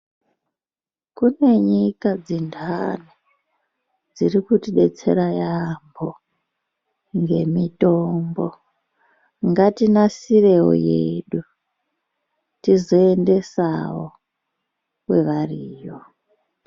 Kune nyika dzendani dziri kutidetsera yambo ngemitombo. Ngatinasirewo yedu tizoendesawo kwevariyo.